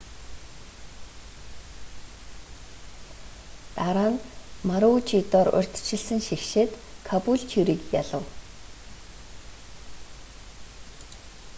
дараа нь марүүчидор урьдчилсан шигшээд кабүүлтюриг ялав